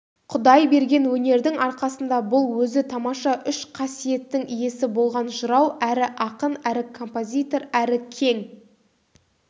құдай берген өнердің арқасында бұл өзі тамаша үш қасиеттің иесі болған жырау әрі ақын әрі композитор әрі кең